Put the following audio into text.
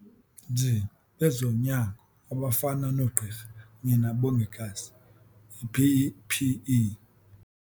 nzi bezonyango abafana noogqirha kunye nabongikazi ii-PPE.